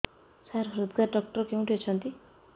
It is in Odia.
ସାର ହୃଦଘାତ ଡକ୍ଟର କେଉଁଠି ଅଛନ୍ତି